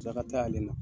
Tila ka taa ale na